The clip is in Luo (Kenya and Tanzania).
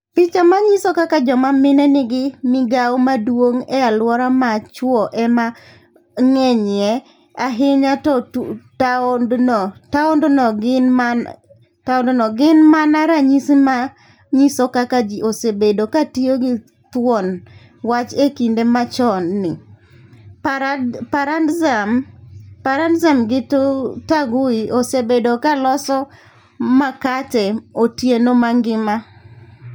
Piche ma nyiso kaka joma mine nigi migawo maduong' e alwora ma chwo ema ng'enyie ahinya e taondno, gin mana ranyisi ma nyiso kaka ji osebedo ka tiyo gi thuon wach e kinde machon ni: 'Parandzem gi Taguhi osebedo ka loso makate otieno mangima.'